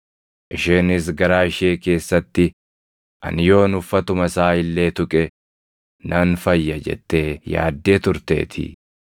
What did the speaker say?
Isheenis garaa ishee keessatti, “Ani yoon uffatuma isaa illee tuqe nan fayya” jettee yaaddee turteetii.